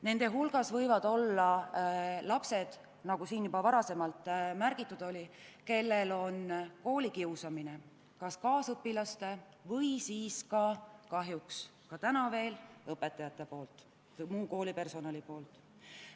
Samuti võib selliste laste hulgas olla neid, nagu siin juba varasemalt märgitud, kelle probleemiks on koolikiusamine kas kaasõpilaste või siis kahjuks ka täna veel õpetajate või muu koolipersonali poolt.